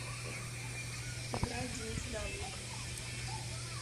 играй денис даблик